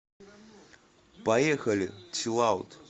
поехали чиллаут